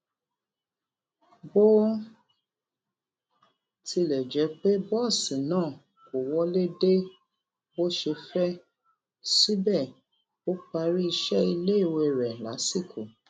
bó tilè jé pé bóòsì náà kò náà kò wọlé dé bó ṣe fé síbè ó parí iṣé iléèwé rè lásìkò